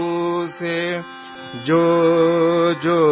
so ಜಾವೋ ಸೋ ಜಾವೋ